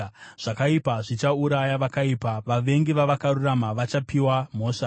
Zvakaipa zvichauraya vakaipa; vavengi vavakarurama vachapiwa mhosva.